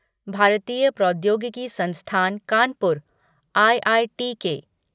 भारतीय प्रौद्योगिकी संस्थान कानपुर आईआईटीके